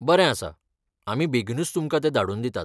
बरें आसा, आमी बेगीनूच तुमकां तें धाडून दितात.